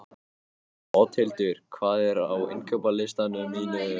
Oddhildur, hvað er á innkaupalistanum mínum?